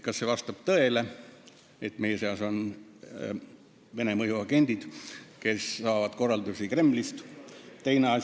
Kas vastab tõele, et meie seas on Vene mõjuagendid, kes saavad korraldusi Kremlist?